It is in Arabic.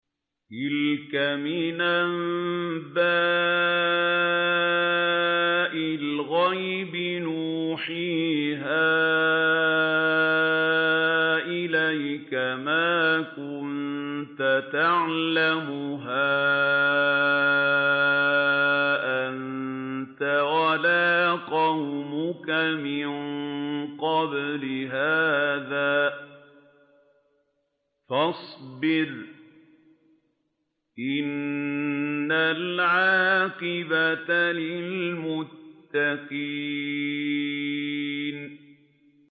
تِلْكَ مِنْ أَنبَاءِ الْغَيْبِ نُوحِيهَا إِلَيْكَ ۖ مَا كُنتَ تَعْلَمُهَا أَنتَ وَلَا قَوْمُكَ مِن قَبْلِ هَٰذَا ۖ فَاصْبِرْ ۖ إِنَّ الْعَاقِبَةَ لِلْمُتَّقِينَ